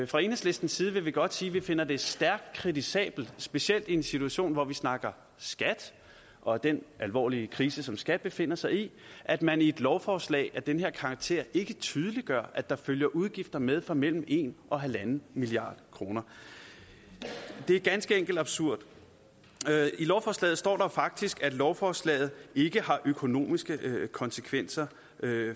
fra enhedslistens side vil godt sige at vi finder det stærkt kritisabelt specielt i en situation hvor vi snakker skat og den alvorlige krise som skat befinder sig i at man i et lovforslag af den her karakter ikke tydeliggør at der følger udgifter med på mellem en og en milliard kroner det er ganske enkelt absurd i lovforslaget står der faktisk at lovforslaget ikke har økonomiske konsekvenser